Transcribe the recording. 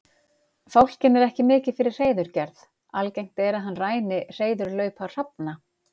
Fálkinn er ekki mikið fyrir hreiðurgerð, algengt er að hann ræni hreiðurlaupa hrafna.